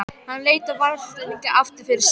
Hann leit varfærnislega aftur fyrir sig.